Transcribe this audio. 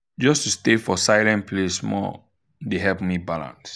just to stay for silent place small dey help me balance.